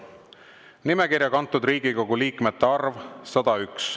Nimekirja kantud Riigikogu liikmete arv – 101.